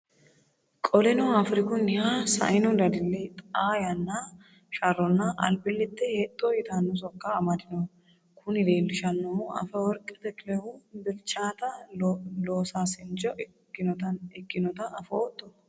Qoleno, Afirikunniha saino dadille, xaa yanna sharronna albillittete hexxo yitanno sokka amadinoho. Kuni leellishannohu, Afeworqi Takilehu, bilchaata loosaasincho ikkinotaa afootto?